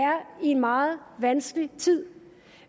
i en meget vanskelig tid